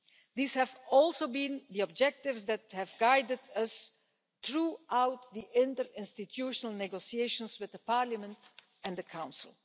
These have also been the objectives that have guided us throughout the interinstitutional negotiations with the Parliament and the Council.